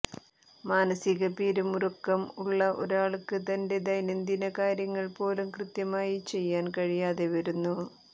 മാനസിക പിരിമുറുക്കം ഉള്ള ഒരാൾക്ക് തൻറെ ദൈനംദിന കാര്യങ്ങൾ പോലും കൃത്യമായി ചെയ്യാൻ കഴിയാതെ വരുന്നു